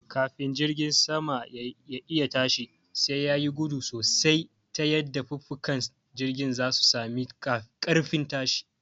Kafin jirgin sama ya'iya tashi sai yayi gudu sosai ta yadda fukafukan jirgin zai sami ƙarfin tashi